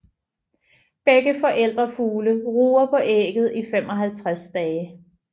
Begge forældrefugle ruger på ægget i 55 dage